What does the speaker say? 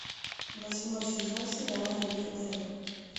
восьмой сезон сериала ривердейл